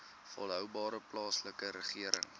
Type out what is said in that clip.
volhoubare plaaslike regering